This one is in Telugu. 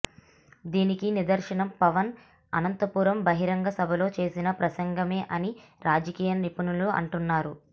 దీనికి నిదర్శనం పవన్ అనంతపురం బహిరంగ సభలో చేసిన ప్రసంగమే అని రాజకీయ నిపుణులు అంటున్నారు